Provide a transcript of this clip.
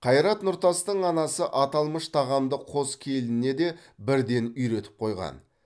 қайрат нұртастың анасы аталмыш тағамды қос келініне де бірден үйретіп қойған